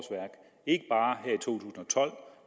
tolv